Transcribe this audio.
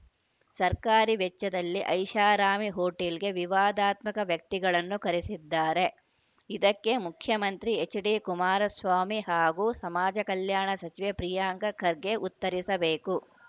ಸರ್ಕಾರಿ ವೆಚ್ಚದಲ್ಲಿ ಐಷಾರಾಮಿ ಹೋಟೆಲ್‌ಗೆ ವಿವಾದಾತ್ಮಕ ವ್ಯಕ್ತಿಗಳನ್ನು ಕರೆಸಿದ್ದಾರೆ ಇದಕ್ಕೆ ಮುಖ್ಯಮಂತ್ರಿ ಎಚ್‌ಡಿಕುಮಾರಸ್ವಾಮಿ ಹಾಗೂ ಸಮಾಜ ಕಲ್ಯಾಣ ಸಚಿವ ಪ್ರಿಯಾಂಕ ಖರ್ಗೆ ಉತ್ತರಿಸಬೇಕು